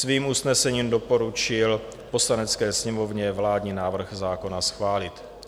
Svým usnesením doporučil Poslanecké sněmovně vládní návrh zákona schválit.